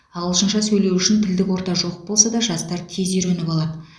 ағылшынша сөйлеу үшін тілдік орта жоқ болса да жастар тез үйреніп алады